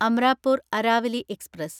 Amrapur Aravali express